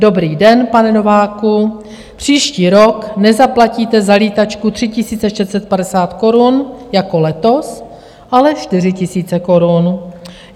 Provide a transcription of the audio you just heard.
Dobrý den, pane Nováku, příští rok nezaplatíte za lítačku 3 650 korun jako letos, ale 4 000 korun.